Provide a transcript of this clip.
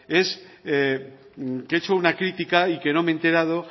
es que he hecho una crítica y que no me he enterado